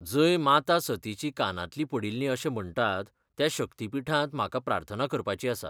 जंय माता सतीचीं कांनांतलीं पडिल्लीं अशें म्हणटात त्या शक्तीपिठांत म्हाका प्रार्थना करपाची आसा.